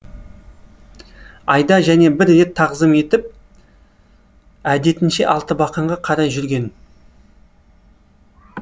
айда және бір рет тағзым етіп әдетінше алтыбақанға қарай жүрген